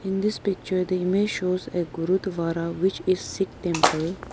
In this picture the image shows a gurudwara which is sikh temple.